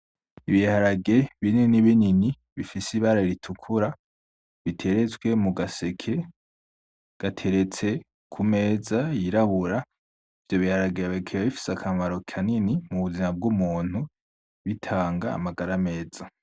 Ibiharage binini binini bifise ibara ritukura biteretse mugaseke, gateretse kumeza yirabura ivyo biharage bikaba bifise akamaro kanini kubuzima bwumuntu bikaba bitanga kumagara meza .